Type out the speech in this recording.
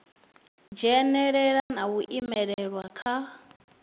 dzhenelela na u imelelwa kha